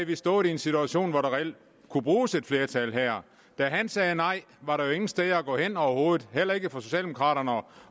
vi stået i en situation hvor der reelt kunne bruges et flertal her da han sagde nej var der jo ingen steder at gå hen overhovedet heller ikke for socialdemokraterne